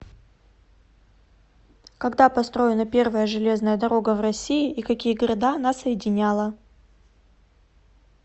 когда построена первая железная дорога в россии и какие города она соединяла